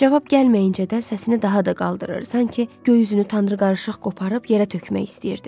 Cavab gəlməyincə də səsini daha da qaldırır, sanki göy üzünü tanrı qarışıq qoparıb yerə tökmək istəyirdi.